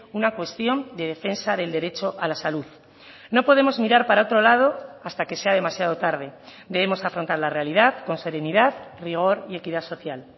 una cuestión de defensa del derecho a la salud no podemos mirar para otro lado hasta que sea demasiado tarde debemos afrontar la realidad con serenidad rigor y equidad social